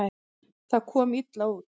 Það komi illa út.